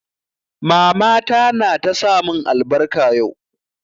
Mama ta na ta sa mun albarka yau